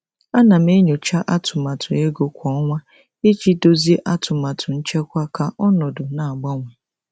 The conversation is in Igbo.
Ana m enyocha atụmatụ ego kwa ọnwa iji dozie atụmatụ nchekwa ka ọnọdụ na-agbanwe.